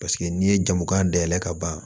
Paseke n'i ye jamu k'an dayɛlɛ ka ban